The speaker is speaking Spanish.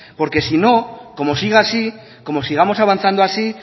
porque si no como siga así como sigamos avanzando así